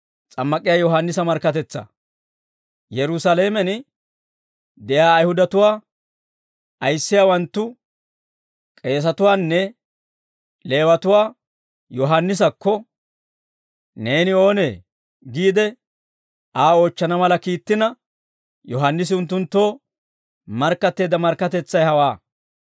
Yerusaalamen de'iyaa Ayihudatuwaa ayissiyaawanttu k'eesatuwaanne Leewatuwaa Yohaannisakko, «Neeni oonee?» giide Aa oochchana mala kiittina, Yohaannisi unttunttoo markkatteedda markkatetsay hawaa.